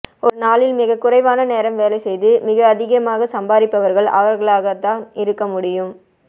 ஒரு நாளில் மிக குறைவான நேரம் வேலை செய்து மிக அதிகமாக சம்பாரிப்பவர்கள் அவர்களாகத்தான் இருக்க முடியும்